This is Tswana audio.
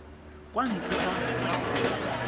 kwa ntle ga fa fela